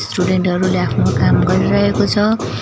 Student हरूले आफ्नो काम गरिरहेको छ।